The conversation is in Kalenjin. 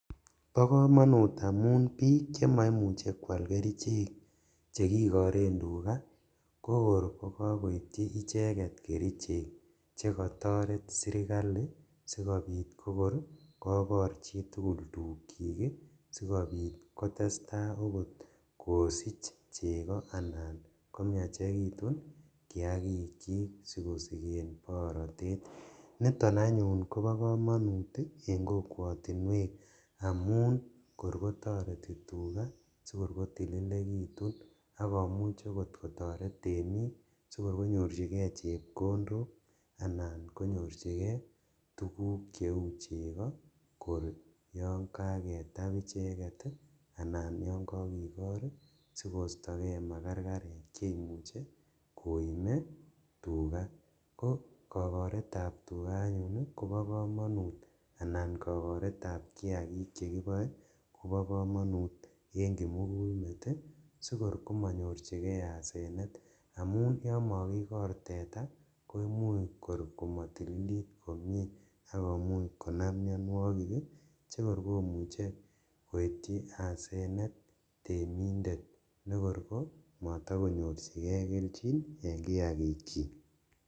Bokomonut amun bik chemoimuche kwal kerichek chekikoren tugaa kokor kokokoitchi icheket kerichek chekotoret sirkali sikobit kokor kokor chitugul tukchik ii, sikobit kotestaa okot kosich cheko anan komiachekitun kiakichik sikosiken borotet, niton anyun kobo komonut en kokwotinwek amun kor kotoreti tugaa sikor kotililekitun akomuch okot kotoret temik sikor konyorjigee chepkondok anan konyorjigee tuguk cheu cheko kor yon kaketab icheket ii anan yon kokikor sikostokee makarkarek cheimuche koime tugaa, ko kokoretab tugaa anyun kobokomonut anan kokoretab kiakik chekiboe kobo komonut en kimugulmet sikor komonyorjigee asenet amun yon mokikor teta koimuch kor komotililit komie ak komuch konam mionuokik ii chekor komuche koityi asenet temindet nekor komotokonyorjigee keljin en kiakikyik